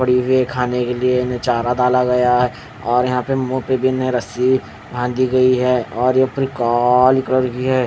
और इन्हे खाने के लिए चारा डाला गया है और यहाँ पे मुँह पे रस्सी बांधी गयी है और ऊपर भी ह--